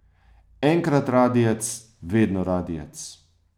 Enkrat radijec, vedno radijec!